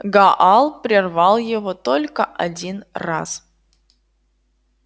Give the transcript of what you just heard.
гаал прервал его только один раз